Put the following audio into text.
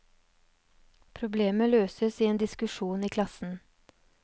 Problemet løses i en diskusjon i klassen.